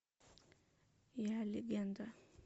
я легенда